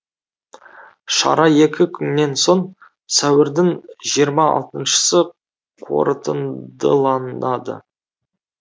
шара екі күннен соң сәуірдің жиырма алтыншысы қорытындыланады